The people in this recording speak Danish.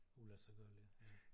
Uladsiggørlig